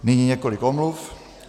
Nyní několik omluv.